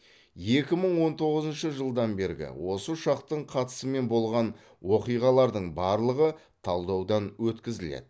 екі мың он тоғызыншы жылдан бергі осы ұшақтың қатысымен болған оқиғалардың барлығы талдаудан өткізіледі